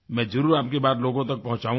मैं ज़रूर आपकी बात लोगों तक पहुँचाऊँगा